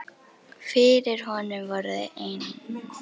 Fyrir honum voru þau enn